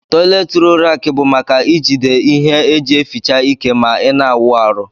Tọyilet rolu raki bu maka ijide ihe eji eficha ike ma ina awụ arụ.